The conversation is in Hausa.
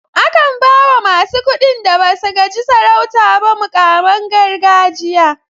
A kan bawa masu kuɗin da basu gaji sarauta ba muƙaman gargajiya.